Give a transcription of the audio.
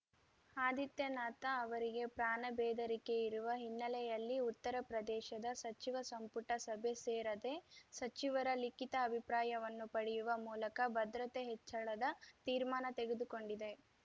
ಆದಿತ್ಯನಾಥ್‌ ಅವರಿಗೆ ಪ್ರಾಣ ಬೆದರಿಕೆ ಇರುವ ಹಿನ್ನೆಲೆಯಲ್ಲಿ ಉತ್ತರಪ್ರದೇಶದ ಸಚಿವ ಸಂಪುಟ ಸಭೆ ಸೇರದೆ ಸಚಿವರ ಲಿಖಿತ ಅಭಿಪ್ರಾಯವನ್ನು ಪಡೆಯುವ ಮೂಲಕ ಭದ್ರತೆ ಹೆಚ್ಚಳದ ತೀರ್ಮಾನ ತೆಗೆದುಕೊಂಡಿದೆ